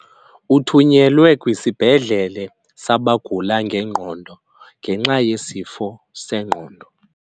Uthunyelwe kwisibhedlele sabagula ngengqondo ngenxa yesifo sengqondo.